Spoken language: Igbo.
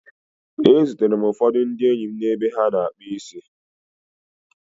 E zutere m ụfọdụ ndị enyi m n'ebe a na-akpụ isi